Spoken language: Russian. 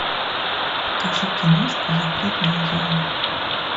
покажи киношку запретная зона